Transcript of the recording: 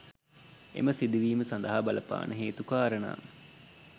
එම සිදුවීම් සඳහා බලපාන හේතු කාරණා